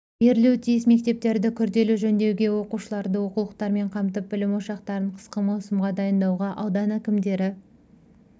берілуі тиіс мектептерді күрделі жөндеуге оқушыларды оқулықтармен қамтып білім ошақтарын қысқы маусымға дайындауға аудан әкімдері